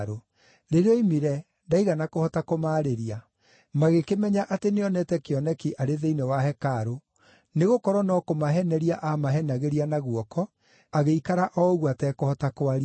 Rĩrĩa oimire, ndaigana kũhota kũmaarĩria; magĩkĩmenya atĩ nĩonete kĩoneki arĩ thĩinĩ wa hekarũ, nĩgũkorwo no kũmaheneria aamahenagĩria na guoko, agĩikara o ũguo atekũhota kwaria.